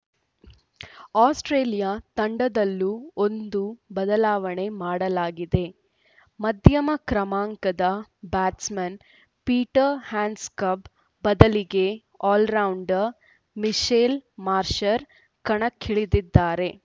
Australia ತಂಡದಲ್ಲೂ ಒಂದು ಬದಲಾವಣೆ ಮಾಡಲಾಗಿದೆ ಮಧ್ಯಮ ಕ್ರಮಾಂಕದ ಬ್ಯಾಟ್ಸ್‌ಮನ್‌ ಪೀಟರ್‌ ಹ್ಯಾಂಡ್ಸ್‌ಕಂಬ್‌ ಬದಲಿಗೆ ಆಲ್ರೌಂಡರ್‌ ಮಿಚೆಲ್‌ ಮಾಷ್‌ರ್‍ ಕಣಕ್ಕಿಳಿದಿದ್ದಾರೆ